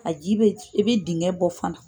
A ji bɛ, i bɛ dinkɛn bɔ fana